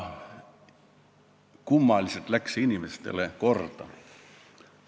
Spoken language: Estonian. Kummalisel kombel läks see inimestele korda.